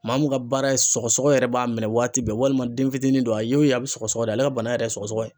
Maa mun ka baara ye sɔgɔsɔgɔ yɛrɛ b'a minɛ waati bɛɛ ,walima den fitinin don a ye wo ye a be sɔgɔsɔgɔ de, ale ka bana yɛrɛ ye sɔgɔsɔgɔ ye